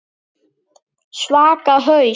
Svaka haus.